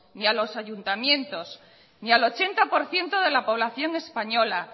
ni a los ayuntamientos ni al ochenta por ciento de la población española